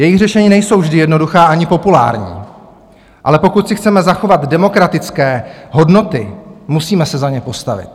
Jejich řešení nejsou vždy jednoduchá ani populární, ale pokud si chceme zachovat demokratické hodnoty, musíme se za ně postavit